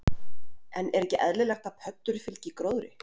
En er ekki eðlilegt að pöddur fylgi gróðri?